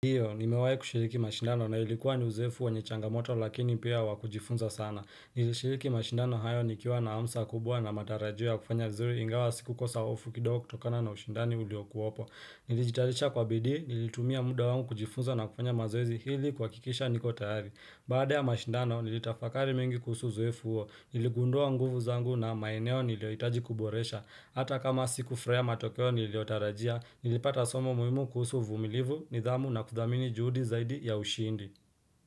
Ndiyo, nimewai kushiriki mashindano na ilikuwa ni uzoefu wenye changamoto lakini pia wa kujifunza sana. Nilishiriki mashindano hayo nikiwa na hamsa kubwa na matarajio ya kufanya vizuri ingawa sikukosa ofu kidogo kutokana na ushindani uliokuopo. Nilijitayarisha kwa bidii, nilitumia muda wangu kujifunza na kufanya mazoezi ili kuhakikisha niko tayari. Baada ya mashindano, nilitafakari mengi kuhusu uzoefu huo. Niligundua nguvu zangu na maeneo niliohitaji kuboresha. Hata kama sikufurahia matokeo niliyotarajia, nilipata somo muhimu kuhusu uvumilivu, nidhamu na kudhamini juhudi zaidi ya ushindi.